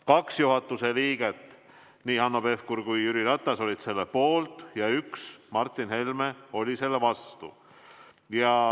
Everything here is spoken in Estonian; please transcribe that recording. Kaks juhatuse liiget, Hanno Pevkur ja Jüri Ratas, olid selle poolt ja Martin Helme oli selle vastu.